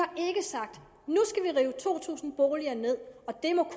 rive to tusind boliger ned og det må